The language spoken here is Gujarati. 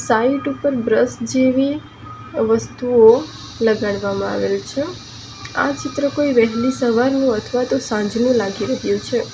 સાઇડ ઉપર બ્રશ જેવી વસ્તુઓ લગાડવામાં આવેલ છે આ ચિત્ર કોઈ વહેલી સવારનું અથવા તો સાંજનું લાગી રહ્યું છે.